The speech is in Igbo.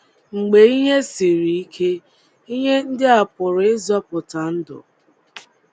Mgbe ihe siri ike, ihe ndị a pụrụ ịzọpụta ndụ.